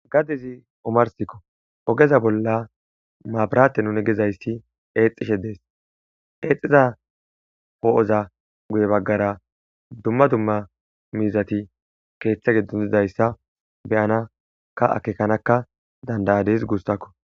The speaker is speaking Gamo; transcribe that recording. Gade;i omarssiko ogeza bolla maburate nuni gizayssi eexxishe de'es. Eexxiza po'oza guye baggara dumma dumma miizati keeththe giddo dizayssa be'anakka akeekkanakka danda'adis guussako.